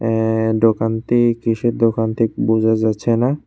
এ দোকানতি কিসের দোকান থিক বোঝা যাচ্ছে না।